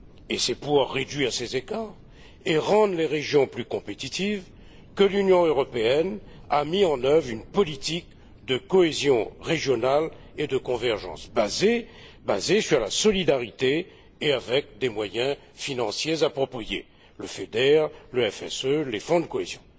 Et c'est pour réduire ces écarts et rendre les régions plus compétitives que l'Union européenne a mis en œuvre une politique de cohésion régionale et de convergence basée sur la solidarité et dotée des moyens financiers appropriés le FEDER, le FSE, les fonds de cohésion.